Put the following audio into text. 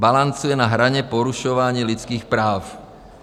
Balancuje na hraně porušování lidských práv.